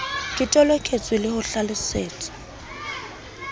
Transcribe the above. ke toloketswe le ho hlalosetswa